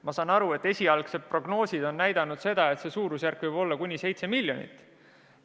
Ma saan aru, et esialgsed prognoosid on näidanud seda, et see suurusjärk võib olla kuni 7 miljonit.